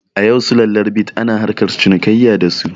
A yau sulallar bit ana harkar cinikayya da su